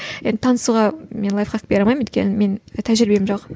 енді танысуға мен лайфхак бере алмаймын өйткені менің тәжірибем жоқ